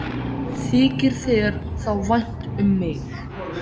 Þykir þér þá vænt um mig?